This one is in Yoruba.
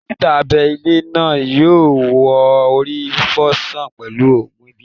Dókítà abẹ ilé náà yọ wo orí fifo sàn pẹlu ògùn ìbílẹ̀